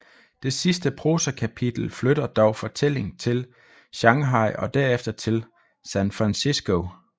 Det sidste prosakapitel flytter dog fortælling til Shanghai og derefter til San Francisco